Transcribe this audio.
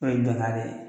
O ye bɛnkan de ye